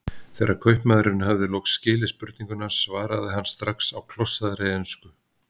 Þegar kaupmaðurinn hafði loks skilið spurninguna svaraði hann strax á klossaðri ensku